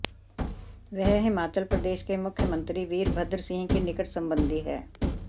वह हिमाचल प्रदेश के मुख्यमंत्री वीरभद्र सिंह की निकट संबंधी हैं